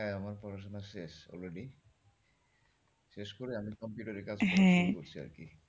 হ্যাঁ আমার পড়াশুনা শেষ already শেষ করে আমি computer এ কাজ হ্যাঁ করছি আরকি।